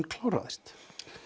kláraðist